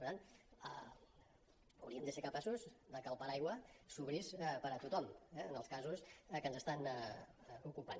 per tant hauríem de ser capaços de que el paraigua s’obrís per a tothom eh en els casos que ens estan ocupant